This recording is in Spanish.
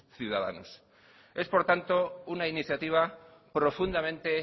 ciudadanos es por tanto una iniciativa profundamente